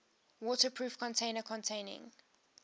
waterproof container containing